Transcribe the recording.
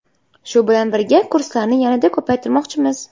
Shu bilan birga kurslarni yanada ko‘paytirmoqchimiz.